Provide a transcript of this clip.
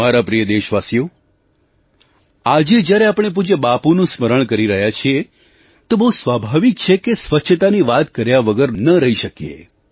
મારા પ્રિય દેશવાસીઓ આજે જ્યારે આપણે પૂજ્ય બાપુનું સ્મરણ કરી રહ્યા છીએ તો બહુ સ્વાભાવિક છે કે સ્વચ્છતાની વાત કર્યા વગર ન રહી શકીએ